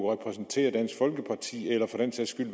repræsentere dansk folkeparti eller for den sags skyld